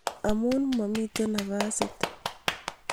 amu mamiten nafasit